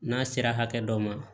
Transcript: N'a sera hakɛ dɔ ma